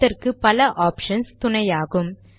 அதற்கு பல ஆப்ஷன்ஸ் துணையாகும்